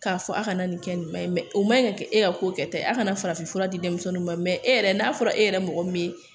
K'a fɔ a kana nin kɛ nin ma ɲi o ma ɲi ka kɛ e ka ko kɛta ye a kana farafinfura di denmisɛnw ma e yɛrɛ n'a fɔra e yɛrɛ mɔgɔ min ye